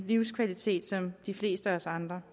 livskvalitet som de fleste af os andre